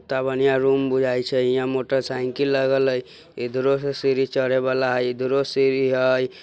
कित्ता बढ़िया रूम बुझाइ छै यहाँ मोटरसाइकिल लगल है| इधरो से सीढ़ी चढ़े वाला है इधरो सीढ़ी है।